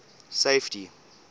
safety